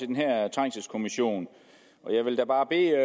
den her trængselskommission jeg vil da bare bede